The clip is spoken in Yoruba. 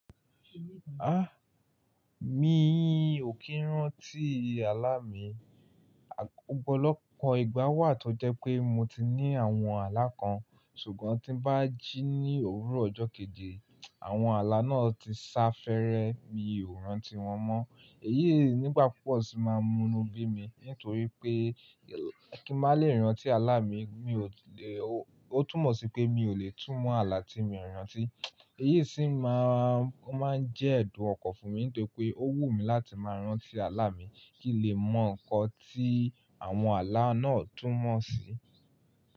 Ah! Mi ò kí ń rántí àlá mi. Ọ̀pọ̀lọpọ̀ ìgbà wà tó jẹ́ pé mo ti ní àwọn àlá kan, ṣùgbọ́n tí n bá jí ní òwúrọ̀ ọjọ́ kejì, àwọn àlá náà ti sá fẹ́rẹ, mi ò rántí wọn mọ́. Èyí nígbà pupọ́ sì máa múnu bí mi nítorí pé kí n má lè rántí àlá mi, mi ò le, ó túmọ̀ sí pé mi ò lè túmọ̀ àlá tí mi ò rántí. Èyí sì máa ń jẹ́ ẹ̀dùn ọkọ̀ fún mi nítorí pé ó wù mí láti máa rántí àlá mi kí lè mọ nǹkan tí àwọn àlá náà túnmọ̀ sí.